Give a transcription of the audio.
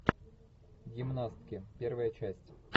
гимнастки первая часть